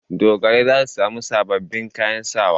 Dogarai za su sami sababbin kayan sawa.